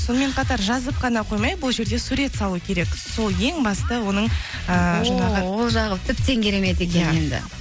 сонымен қатар жазып қана қоймай бұл жерде сурет салу керек сол ең басты оның ііі жаңағы ол жағы тіптен керемет екен